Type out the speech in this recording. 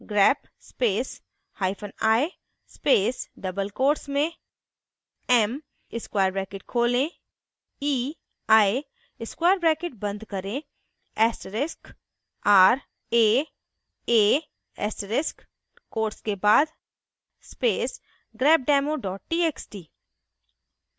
grep space hyphen i space double quotes में m square bracket खोलें ei square bracket बंद करें asterisk r a a asterisk quotes के बाद space grepdemo txt